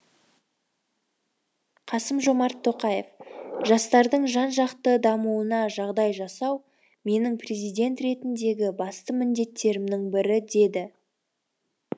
қасым жомарт тоқаев жастардың жан жақты дамуына жағдай жасау менің президент ретіндегі басты міндеттерімнің бірі деді